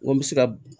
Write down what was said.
N ko n bɛ se ka